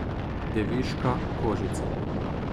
Deviška kožica.